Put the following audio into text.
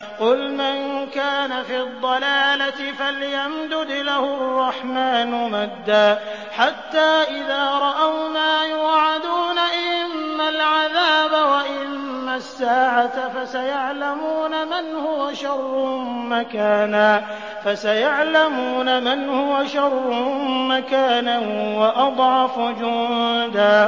قُلْ مَن كَانَ فِي الضَّلَالَةِ فَلْيَمْدُدْ لَهُ الرَّحْمَٰنُ مَدًّا ۚ حَتَّىٰ إِذَا رَأَوْا مَا يُوعَدُونَ إِمَّا الْعَذَابَ وَإِمَّا السَّاعَةَ فَسَيَعْلَمُونَ مَنْ هُوَ شَرٌّ مَّكَانًا وَأَضْعَفُ جُندًا